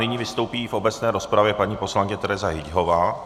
Nyní vystoupí v obecné rozpravě paní poslankyně Tereza Hyťhová.